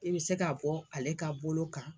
I be se ka bɔ ale ka bolo kan